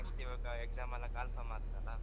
Next ಇವಾಗ exam ಎಲ್ಲ calfor ಆಗ್ತದಲ್ಲ.